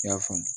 I y'a faamu